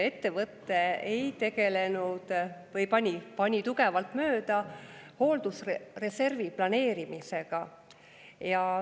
Ettevõte ei tegelenud või pani tugevalt mööda hooldusreservi planeerimisega.